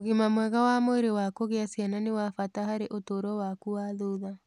Ũgima mwega wa mwĩrĩ wa kũgĩa ciana nĩ wa bata harĩ ũtũũro waku wa thutha.